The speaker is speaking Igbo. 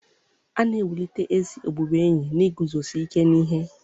A na-ewulite ezi ọbụbụenyi n'iguzosi ike n'ihe